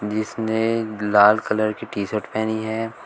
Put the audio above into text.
इसने लाल कलर की टी शर्ट पहनी है।